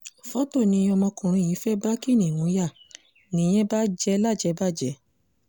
fọ́tò ni ọmọkùnrin yìí fẹ́ẹ́ bá kiníùn yá nìyẹn bà jẹ́ lájẹbàjẹ́